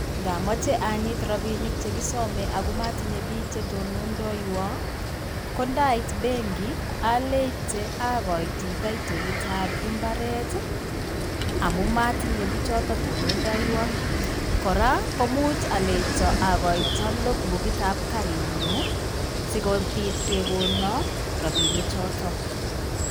Ngamoche anyit rabinik chekisome ako matinye biik chetonondoiywo ko ndaait benki aleite akaiti toitolitap imbaret amu motinye bichoto tonondoiywo. Kora komuch aleito akoito lokbukitap karitnyu sikobiit kekono rabinichotok.